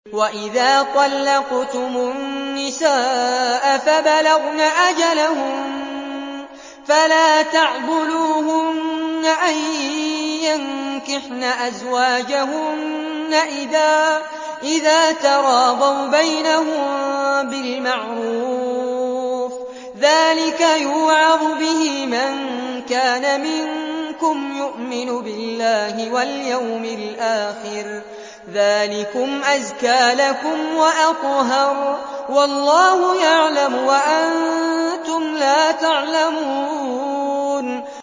وَإِذَا طَلَّقْتُمُ النِّسَاءَ فَبَلَغْنَ أَجَلَهُنَّ فَلَا تَعْضُلُوهُنَّ أَن يَنكِحْنَ أَزْوَاجَهُنَّ إِذَا تَرَاضَوْا بَيْنَهُم بِالْمَعْرُوفِ ۗ ذَٰلِكَ يُوعَظُ بِهِ مَن كَانَ مِنكُمْ يُؤْمِنُ بِاللَّهِ وَالْيَوْمِ الْآخِرِ ۗ ذَٰلِكُمْ أَزْكَىٰ لَكُمْ وَأَطْهَرُ ۗ وَاللَّهُ يَعْلَمُ وَأَنتُمْ لَا تَعْلَمُونَ